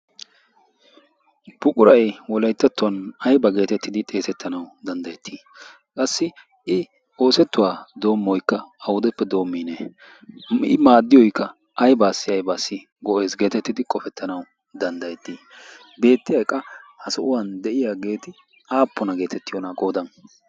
buquray wolayttattuwan aiba geetettidi xeesettanau danddayettii qassi i oosettuwaa doommoikka audeppe doommiine i maaddiyoikka aibaassi aibaassi go"ees. geetettidi qofettanau danddayettii beetti a eqa ha so'uwan de'iyaa geeti aappuna geetettiyoona qoodan?